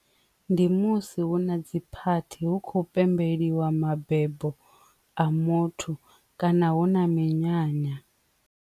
Ndi musi hu na dzi phathini hu khou pembeliwa mabebo a muthu kana hu na minyanya.